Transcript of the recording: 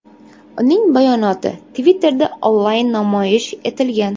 Uning bayonoti Twitter’da onlayn namoyish etilgan.